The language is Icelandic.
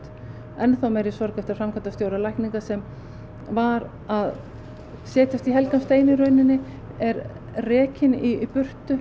enn þá meiri sorg eftir að framkvæmdastjóra lækninga sem var að setjast í helgan stein í rauninni er rekinn í burtu